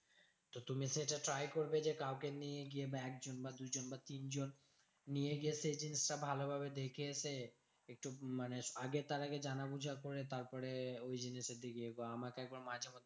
তুমি সেটা try করবে যে কাউকে নিয়ে গিয়ে বা একজন বা দুজন বা তিনজন। নিয়ে গিয়ে সেই জিনিসটা ভালো ভাবে দেখে এসে, একটু মানে আগে তার আগে জানাবো যা করে তারপরে ওইজিনিসের দিকে বা আমাকে একবার মাঝেমধ্যে